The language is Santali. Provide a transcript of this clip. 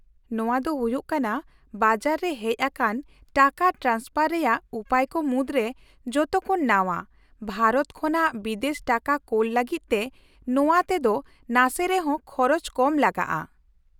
-ᱱᱚᱶᱟ ᱫᱚ ᱦᱩᱭᱩᱜ ᱠᱟᱱᱟ ᱵᱟᱡᱟᱨ ᱨᱮ ᱦᱮᱡ ᱟᱠᱟᱱ ᱴᱟᱠᱟ ᱴᱨᱟᱱᱥᱯᱷᱟᱨ ᱨᱮᱭᱟᱜ ᱩᱯᱟᱹᱭ ᱠᱚ ᱢᱩᱫᱽᱨᱮ ᱡᱚᱛᱚ ᱠᱷᱚᱱ ᱱᱟᱣᱟ, ᱵᱷᱟᱨᱚᱛ ᱠᱷᱚᱱᱟᱜ ᱵᱤᱫᱮᱥ ᱴᱟᱠᱟ ᱠᱳᱞ ᱞᱟᱹᱜᱤᱫ ᱛᱮ ᱱᱚᱣᱟ ᱛᱮ ᱫᱚ ᱱᱟᱥᱮ ᱨᱮᱦᱚᱸ ᱠᱷᱚᱨᱚᱪ ᱠᱚᱢ ᱞᱟᱜᱟᱜᱼᱟ ᱾